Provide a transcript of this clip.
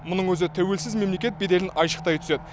мұның өзі тәуелсіз мемлекет беделін айшықтай түседі